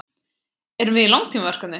Erum við í langtímaverkefni?